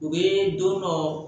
U bɛ don dɔ